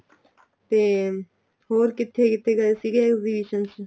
ਤੇ ਹੋਰ ਕਿੱਥੇ ਕਿੱਥੇ ਗਏ ਸੀਗੇ exhibition ਚ